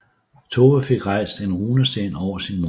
Tove fik rejst en runesten over sin mor